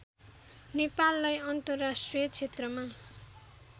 नेपाललाई अन्तर्राष्ट्रिय क्षेत्रमा